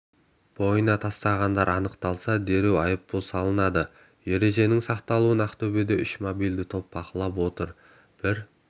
бойына тастағандар анықталса дереу айыппұл салынады ереженің сақталуын ақтөбеде үш мобильді топ бақылап отыр бір